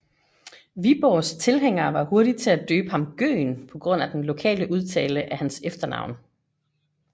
Viborgs tilhængere var hurtige til at døbe ham Gøgen på grund af den lokale udtale af hans efternavn